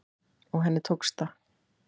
Og henni tókst það.